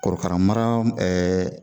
Korokara mara